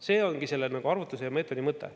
See ongi selle arvutuse ja meetodi mõte.